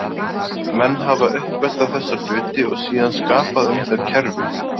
Menn hafi uppgötvað þessa hluti og síðan skapað um þau kerfi.